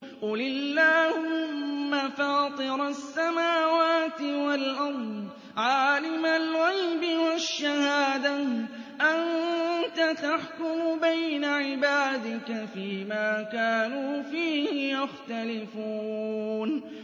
قُلِ اللَّهُمَّ فَاطِرَ السَّمَاوَاتِ وَالْأَرْضِ عَالِمَ الْغَيْبِ وَالشَّهَادَةِ أَنتَ تَحْكُمُ بَيْنَ عِبَادِكَ فِي مَا كَانُوا فِيهِ يَخْتَلِفُونَ